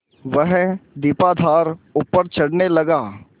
वह दीपाधार ऊपर चढ़ने लगा